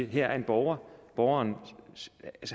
her er en borger og borgeren